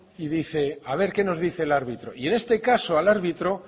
y dice a ver que nos dice el árbitro y en este caso al árbitro